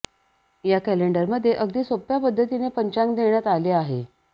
या कॅलेंडरमध्ये अगदी सोप्या पद्धतीने पंचांग देण्यात आले आहे